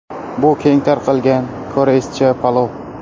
Bu – keng tarqalgan koreyscha palov.